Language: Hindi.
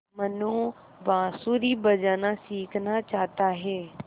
मनु बाँसुरी बजाना सीखना चाहता है